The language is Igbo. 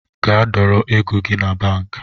Gaa dọrọ ego gi na banki